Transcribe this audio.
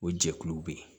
O jɛkuluw bɛ yen